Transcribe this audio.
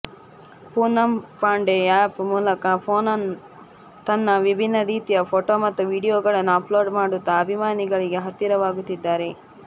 Poonam Pandey app ಮೂಲಕ ಪೋನಂ ತನ್ನ ವಿಭಿನ್ನ ರೀತಿಯ ಫೊಟೋ ಮತ್ತು ವಿಡಿಯೋಗಳನ್ನು ಅಪ್ಲೋಡ್ ಮಾಡುತ್ತಾ ಅಭಿಮಾನಿಗಳಿಗೆ ಹತ್ತಿರವಾಗುತ್ತಿದ್ದಾರೆ